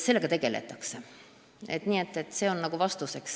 See on nagu vastus.